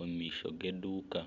omu maisho g'eduuka